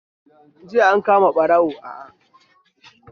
JIya an kama ɓarawo